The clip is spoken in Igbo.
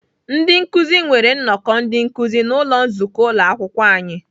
Ndị nkụzi nwere nnọkọ ndị nkụzi n'ụlọ nzukọ Ụlọakwụkwọ ahụ.